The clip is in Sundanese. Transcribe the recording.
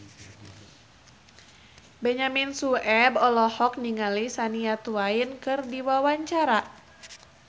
Benyamin Sueb olohok ningali Shania Twain keur diwawancara